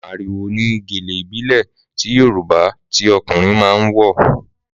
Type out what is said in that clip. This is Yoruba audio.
Màrìwò ni gèlè ìbílẹ̀ ti Yorùbá tí ọkùnrin máa ń wọ̀